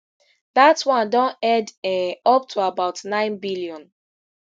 dat one don head um up to about nine billion